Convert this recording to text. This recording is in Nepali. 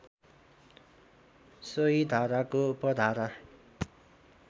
सोही धाराको उपधारा